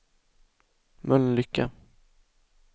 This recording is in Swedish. Mölnlycke